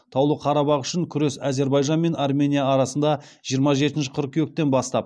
таулы қарабақ үшін күрес әзербайжан мен армения арасында жиырма жетінші қыркүйектен бастап